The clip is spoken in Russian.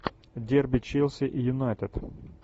дерби челси и юнайтед